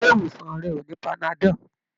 Ilé ìwòsàn rẹ ò ní panadol.